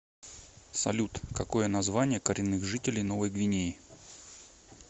салют какое название коренных жителей новой гвинеи